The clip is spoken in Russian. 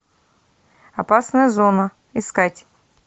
опасная зона искать